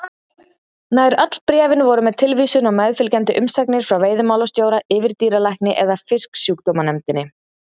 Nær öll bréfin voru með tilvísun á meðfylgjandi umsagnir frá veiðimálastjóra, yfirdýralækni eða Fisksjúkdómanefndinni.